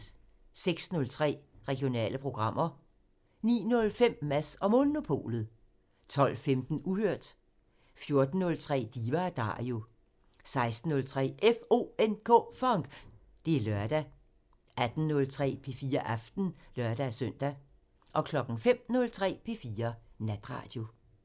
06:03: Regionale programmer 09:05: Mads & Monopolet 12:15: Uhørt 14:03: Diva & Dario 16:03: FONK! Det er lørdag 18:03: P4 Aften (lør-søn) 05:03: P4 Natradio